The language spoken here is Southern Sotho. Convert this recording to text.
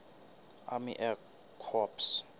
army air corps